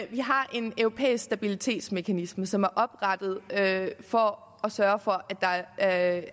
vi har en europæisk stabilitetsmekanisme som er oprettet for at sørge for at